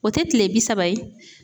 O tɛ tile bi saba ye